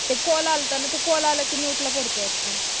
call अलता call आला कि तो म्यूट ला पडतो